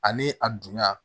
Ani a dunya